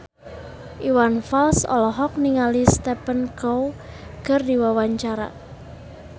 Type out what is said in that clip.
Iwan Fals olohok ningali Stephen Chow keur diwawancara